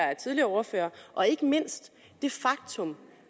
af tidligere ordførere og ikke mindst det faktum